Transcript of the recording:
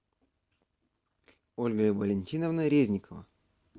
ольга валентиновна резникова